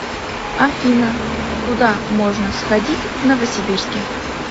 афина куда можно сходить в новосибирске